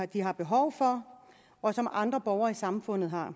de har behov for og som andre borgere i samfundet har